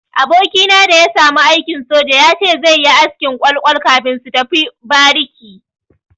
Abokina da ya samu aikin soja ya ce zai yi askin kwal-kwal kafin su tafi bariki.